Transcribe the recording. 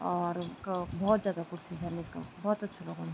और क बहौत जादा कुर्सी छन यक बहौत अछू लगणु।